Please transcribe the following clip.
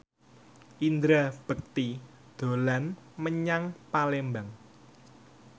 Indra Bekti dolan menyang Palembang